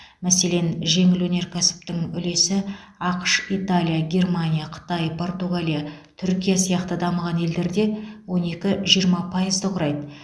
мәселен жеңіл өнеркәсіптің үлесі ақш италия германия қытай португалия түркия сияқты дамыған елдерде он екі жиырма пайызды құрайды